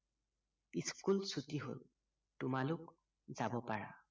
school চুটি হল তোমালোক যাব পাৰা